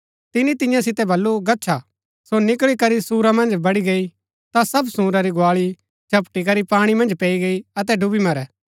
तिनी तियां सितै बल्लू गच्छा सो निकळी करी सूअरा मन्ज बड़ी गई ता सब सूअरा री गुआली झपटी करी पाणी मन्ज पैई गई अतै डूबी मरै